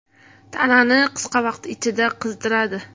Tanani qisqa vaqt ichida qizdiradi.